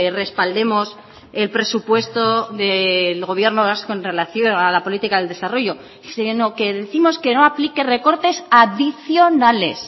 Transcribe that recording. respaldemos el presupuesto del gobierno vasco en relación a la política del desarrollo sino que décimos que no aplique recortes adicionales